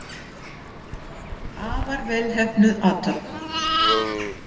Afar vel heppnuð athöfn.